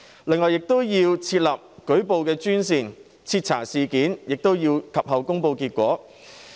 另外，亦要設立舉報專線，徹查事件，及後亦要公布結果。